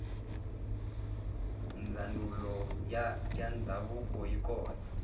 ndzanulo yandzavuko yikona